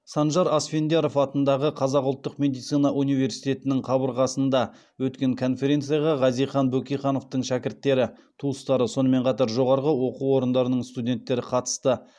санжар асфендияров атындағы қазақ ұлттық медицина университетінің қабырғасында өткен конференцияға хазихан бөкейхановтың шәкірттері туыстары сонымен қатар жоғарғы оқу орындарының студенттері қатысты